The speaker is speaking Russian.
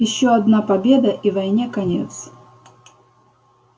ещё одна победа и войне конец